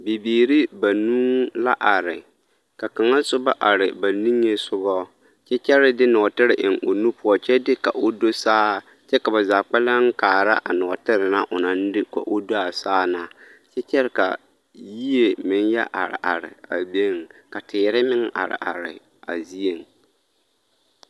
Bibiiri banuu la are ka kaŋa soba are ba niŋesogɔ kyɛ kyɛre de nɔɔtere eŋ o nu poɔ kyɛ ka o do saa kyɛ ka ba zaa kpɛlɛŋ kaara a nɔɔtere na onaŋ de ka o do a saa na kyɛ kyɛre ka yie meŋ yɛ are are a biŋ, ka teere meŋ are are a zieŋ.